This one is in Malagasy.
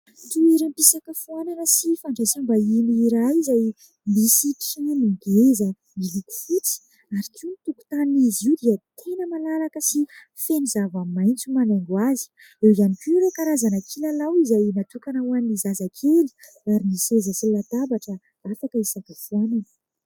Toeram-pisakafoanana sy fandraisambahiny iray izay misy ngeza miloko fotsy ary koa ny tokontan'izy io dia tena malalaka sy feno zavamaintso manaingo azy eo ihany koa ireo karazana kilalao izay natokana ho an'ny zazakely ary ny seza sy latabatra natao koa hisakafoanana